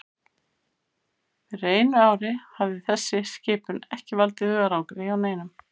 Fyrir einu ári hefði þessi skipun ekki valdið hugarangri hjá neinum.